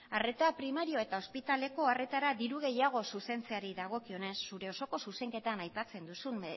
arreta primarioa eta ospitaleko arretara diru gehiago zuzentzeari dagokionez zure osoko zuzenketan aipatzen duzun